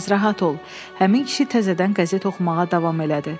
Həmin kişi təzədən qəzet oxumağa davam elədi.